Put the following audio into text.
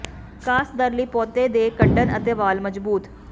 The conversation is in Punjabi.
ਵਿਕਾਸ ਦਰ ਲਈ ਪੌਦੇ ਦੇ ਕੱਡਣ ਅਤੇ ਵਾਲ ਮਜ਼ਬੂਤ